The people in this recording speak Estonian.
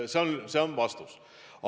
See on minu vastus.